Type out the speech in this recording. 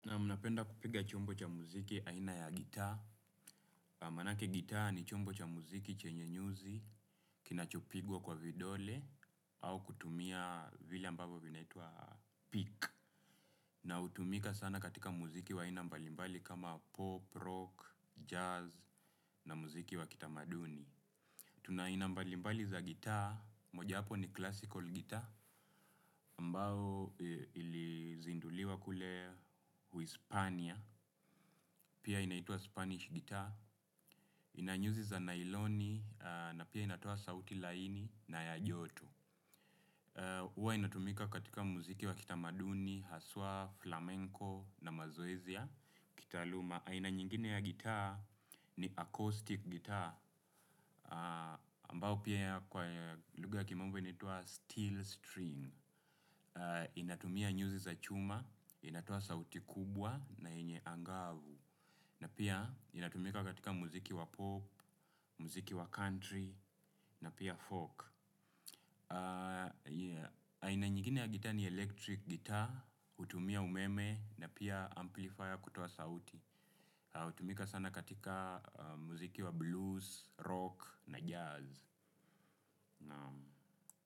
Na mnapenda kupiga chombo cha muziki aina ya gitaa. Manake gitaa ni chombo cha muziki chenye nyuzi, kinachopigwa kwa vidole, au kutumia vile ambavyo vinaitua pick. Na hutumika sana katika muziki wa aina mbalimbali kama pop, rock, jazz, na muziki wa kitamaduni. Tuna aina mbalimbali za gitaa, moja yapo ni classical gitaa, ambao ili zinduliwa kule uispania, pia inaitwa spanish guitar, inanyuzi za nailoni, na pia inatoa sauti laini na yajoto. Huwa inatumika katika muziki wa kitamaduni, haswa, flamenco na mazoezi ya. Kitaaluma, aina nyingine ya guitar ni acoustic guitar, ambao pia kwa lugha ya kimombo inaitua steel string. Inatumia nyuzi za chuma, inatoa sauti kubwa na yenye angavu. Na pia inatumika katika muziki wa pop, muziki wa country na pia folk aina nyingine ya gita ni electric guitar, hutumia umeme na pia amplifier kutoa sauti. Utumika sana katika muziki wa blues, rock na jazz.